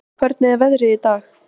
Ýr, hvernig er veðrið í dag?